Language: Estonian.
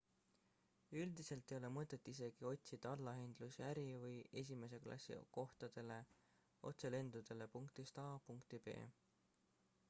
üldiselt ei ole mõtet isegi otsida allahindlusi äri või esimese klassi kohtadele otselendudele punktist a punkti b